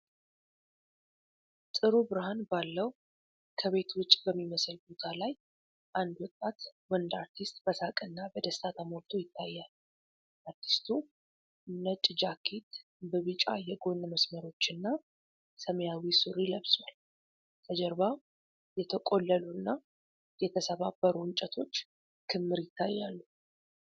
ጥሩ ብርሃን ባለው ከቤት ውጭ በሚመስል ቦታ ላይ አንድ ወጣት ወንድ አርቲስት በሳቅና በደስታ ተሞልቶ ይታያል። አርቲስቱ ነጭ ጃኬት በቢጫ የጎን መስመሮችና ሰማያዊ ሱሪ ለብሷል። ከጀርባው የተቆለሉና የተሰባበሩ እንጨቶች ክምር ይታያሉ።